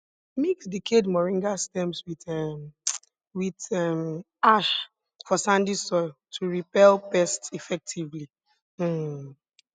mix decayed moringa stems with um with um ash for sandy soil to repel pests effectively um